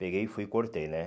Peguei e fui e cortei, né?